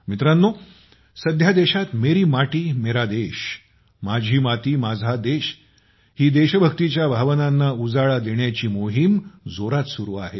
मित्रांनो सध्या देशात मेरी माती मेरा देश माझी माती माझा देश ही देशभक्तीच्या भावनांना उजाळा देण्याची मोहीम जोरात सुरू आहे